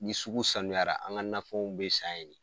Ni sugu sanuyara an ka nafɛnw bɛ san